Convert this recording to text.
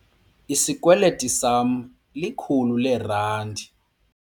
Isikweliti sama likhulu leerandi.